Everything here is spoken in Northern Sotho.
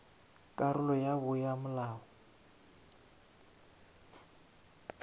karolo ya bo ya molao